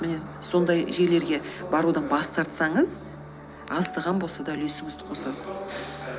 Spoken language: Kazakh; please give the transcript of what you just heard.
міне сондай жерлерге барудан бас тартсаңыз аздаған болса да үлесіңізді қосасыз